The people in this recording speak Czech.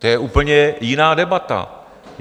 To je úplně jiná debata.